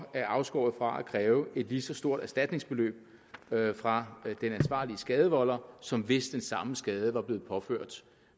er afskåret fra at kræve et lige så stort erstatningsbeløb fra den ansvarlige skadevolder som hvis den samme skade var blevet påført